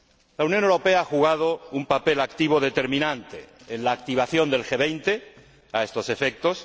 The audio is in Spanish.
La Unión Europea ha jugado un papel activo determinante en la activación del G 20 a estos efectos.